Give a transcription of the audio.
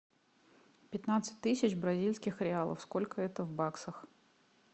пятнадцать тысяч бразильских реалов сколько это в баксах